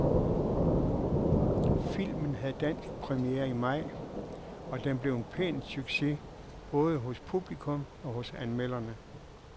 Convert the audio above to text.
Filmen havde dansk premiere i maj, og den blev en pæn succes både hos publikum og hos anmelderne.